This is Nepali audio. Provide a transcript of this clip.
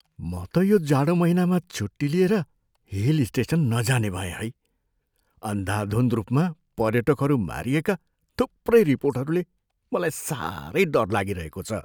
म त यो जाडो महिनामा छुट्टी लिएर हिल स्टेसन नजाने भएँ है। अन्धाधुन्ध रूपमा पर्यटकहरू मारिएका थुप्रै रिपोर्टहरूले मलाई साह्रै डर लागिरहेको छ।